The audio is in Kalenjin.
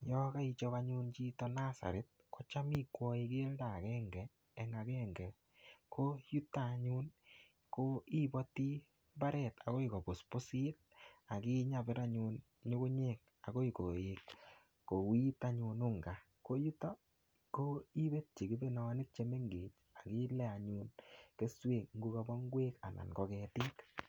Yakaichop anyun chito nursery, kocham ikwai keldo agenge eng agenge. Ko yutok anyun, ko ibati mbaret akoi kopuspusit. Akinyabir anyun nyugunyek akoi koet kouit anyun unga. Ko yutok ko ibe che kibionik che mengech, akile anyun keswek ngokabo ngwek, anan ko ketik